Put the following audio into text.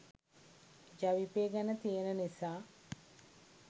ජවිපෙ ගැන තියෙන නිසා